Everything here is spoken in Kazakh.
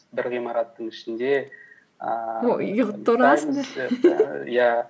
бір ғимараттың ішінде ііі иә